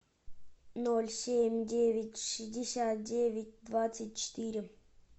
ноль семь девять шестьдесят девять двадцать четыре